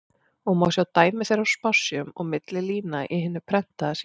og má sjá dæmi þeirra á spássíum og milli lína í hinu prentaða sýnishorni.